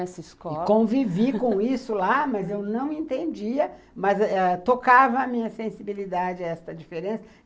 Nessa escola. E convivi com isso lá, mas eu não entendia, mas ãh tocava a minha sensibilidade a essa diferença.